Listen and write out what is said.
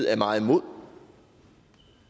er meget imod